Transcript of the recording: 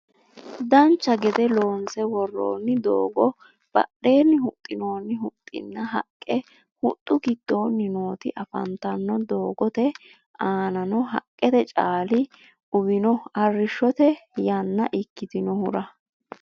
dancha gede loonse woroonni doogo badheenni huxxinoonni huxxinna haqqe huxxu giddoonni nooti afantanno doogote aanano haqqete caali uwino arrishote yannaa ikitinohura